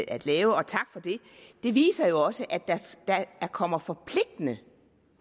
at lave og tak for det viser jo også at der kommer forpligtende